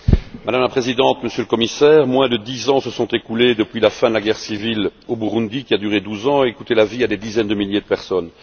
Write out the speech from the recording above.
Madame la Présidente, Monsieur le Commissaire, moins de dix ans se sont écoulés depuis la fin de la guerre civile au Burundi, qui a duré 12 ans, et qui a coûté la vie à des dizaines de milliers de personnes.